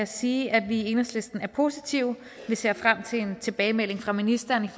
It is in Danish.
sige at vi i enhedslisten er positive vi ser frem til en tilbagemelding fra ministeren